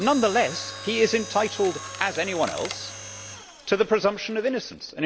Nonetheless he is entitled, as anyone else, to the presumption of innocence.